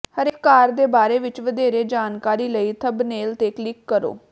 ਹਰੇਕ ਕਾਰ ਦੇ ਬਾਰੇ ਵਿੱਚ ਵਧੇਰੇ ਜਾਣਕਾਰੀ ਲਈ ਥੰਬਨੇਲ ਤੇ ਕਲਿਕ ਕਰੋ